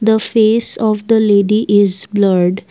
the face of the lady is blurred.